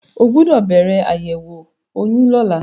O gbọ́dọ̀ bẹ̀rẹ̀ àyẹ̀wò oyún lọ́la.